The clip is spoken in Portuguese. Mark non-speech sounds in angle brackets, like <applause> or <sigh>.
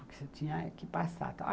Porque <unintelligible> tinha que passar.